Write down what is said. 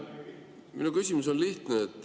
Minu küsimus on lihtne.